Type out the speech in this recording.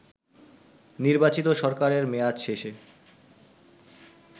নির্বাচিত সরকারের মেয়াদ শেষে